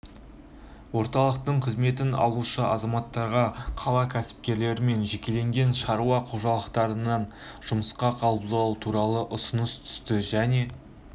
орталықтың қызметін алушы азаматтарға қала кәсіпкерлері мен жекелеген шаруа қожалықтарынан жұмысқа қабылдау туралы ұсыныс түсті және